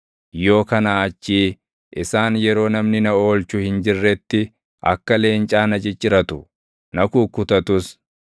yoo kanaa achii isaan yeroo namni na oolchu hin jirretti, akka leencaa na cicciratu; na kukkutatus.